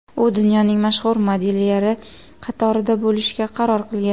U dunyoning mashhur modelyerlari qatorida bo‘lishga qaror qilgan.